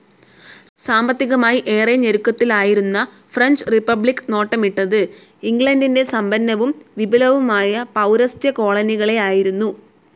സാമ്പത്തികമായി ഏറെ ഞെരുക്കത്തിലായിരുന്ന ഫ്രഞ്ച്‌ റിപ്പബ്ലിക്‌ നോട്ടമിട്ടത് ഇംഗ്ലണ്ടിൻ്റെ സമ്പന്നവും വിപുലവുമായ പൗരസ്ത്യ കോളനികളെയായിരുന്നു.